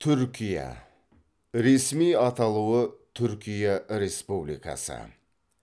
түркия ресми аталуы түркия республикасы